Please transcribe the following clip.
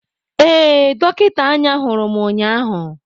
Ee, dọkịta anya hụrụ m ụnyahụ.